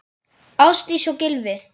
Ásdís og Gylfi.